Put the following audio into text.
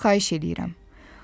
Səndən xahiş eləyirəm.